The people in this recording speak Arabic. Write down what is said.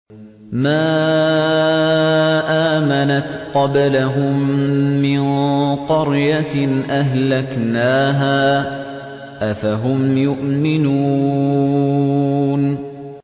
مَا آمَنَتْ قَبْلَهُم مِّن قَرْيَةٍ أَهْلَكْنَاهَا ۖ أَفَهُمْ يُؤْمِنُونَ